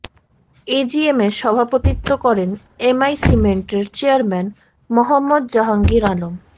এজিএমে সভাপতিত্ব করেন M I সিমেন্টের চেয়ারম্যান মোহাম্মদ জাহাঙ্গীর আলম